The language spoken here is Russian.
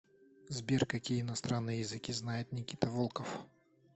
сбер какие иностранные языки знает никита волков